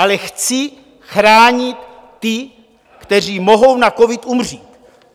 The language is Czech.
Ale chci chránit ty, kteří mohou na covid umřít.